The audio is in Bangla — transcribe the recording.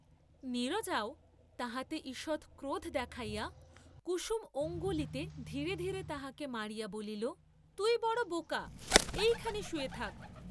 নীরজাও তাহাতে ঈষৎ ক্রোধ দেখাইয়া কুসুম অঙ্গুলিতে ধীরে ধীরে তাহাকে মারিয়া বলিল, তুই বড় বোকা এইখানে শুয়ে থাক্।